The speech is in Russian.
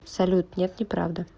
салют нет неправда